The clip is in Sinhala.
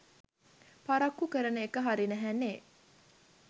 පරක්කු කරන එක හරි නැහැනේ